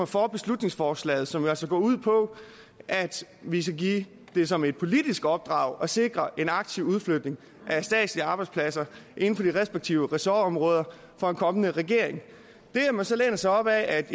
for beslutningsforslaget som jo altså går ud på at vi skal give det som et politisk opdrag at sikre en aktiv udflytning af statslige arbejdspladser inden for de respektive ressortområder for en kommende regering det at man så læner sig op af at